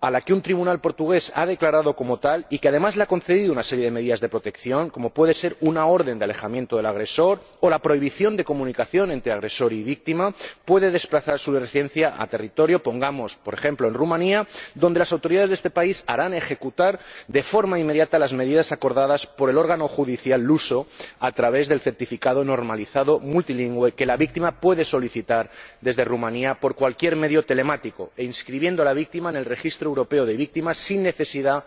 a la que un tribunal portugués haya declarado como tal y que, además, le haya concedido una serie de medidas de protección, como puede ser una orden de alejamiento del agresor o la prohibición de comunicación entre agresor y víctima, podrá desplazar su residencia a territorio, pongamos por ejemplo, rumano, donde las autoridades de este país harán ejecutar de forma inmediata las medidas acordadas por el órgano judicial luso, a través del certificado normalizado multilingüe que la víctima podrá solicitar desde Rumanía por cualquier medio telemático e inscribiendo a la víctima en el registro europeo de víctimas sin necesidad